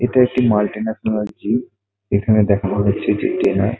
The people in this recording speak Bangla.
এটা একটি মাল্টি ন্যাশনাল জিম এখানে দেখানো হচ্ছে যে ট্রেনার --